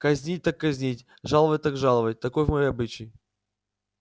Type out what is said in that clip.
казнить так казнить жаловать так жаловать таков мой обычай